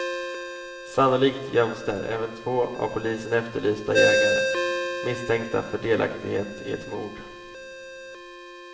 Sannolikt göms där även två av polisen efterlysta jägare, misstänkta för delaktighet i ett mord.